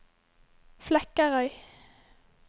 Flekkerøy